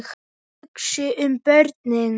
Þið hugsið um börnin.